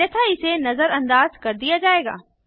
अन्यथा इसे नजरअंदाज कर दिया जाएगा